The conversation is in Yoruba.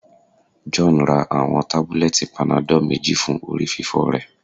John ra awọn tabulẹti panadol meji fun orififo rẹ